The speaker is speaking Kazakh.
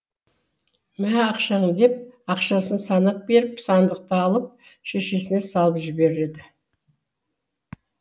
мә ақшаң деп ақшасын санап беріп сандықты алып шешесіне салып жібереді